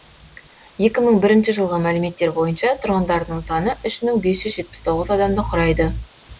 екі мың бірінші жылғы мәліметтер бойынша тұрғындарының саны үш мың бес жүз жетпіс тоғыз адамды құрайды